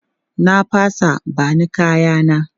Na fasa, ba ni kaya na!